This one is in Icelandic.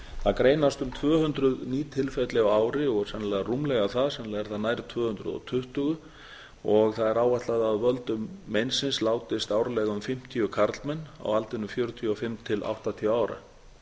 það greinast um tvö hundruð ný tilfelli á ári og sennilega rúmlega það sennilega er það nær tvö hundruð og tuttugu það er áætlað að af völdum meinsins látast árlega um fimmtíu karlmenn á aldrinum fjörutíu og fimm til áttatíu ára